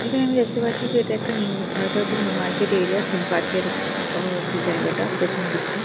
এখানে আমরা দেখতে পাচ্ছি যে এটা একটা নিউ আ এটা হচ্ছে নিউ মার্কেট এরিয়া সিন্ পার্ক -এর আ যে জায়গাটা পেছন দিকটা।